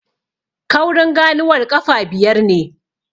Kaurin ganuwar ƙafa biyar ne.